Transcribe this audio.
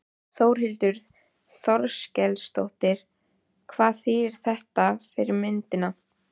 Þórhildur Þorkelsdóttir: Hvað þýðir þetta fyrir myndina?